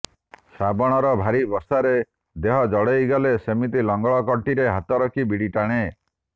ଶ୍ରାବଣର ଭାରି ବର୍ଷାରେ ଦେହ ଜାଡ଼େଇ ଗଲେ ସେମିତି ଲଙ୍ଗଳ କଣ୍ଟିରେ ହାତ ରଖି ବିଡ଼ି ଟାଣେ